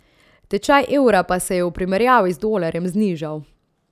Tečaj evra pa se je v primerjavi z dolarjem znižal.